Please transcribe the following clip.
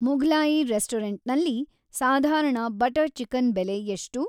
ಮುಘ್ಲಾಯಿ ರೆಸ್ಟೊರೆಂಟ್‌ನಲ್ಲಿ ಸಾಧಾರಣ butter chicken ಬೆಲೆ ಎಷ್ಟು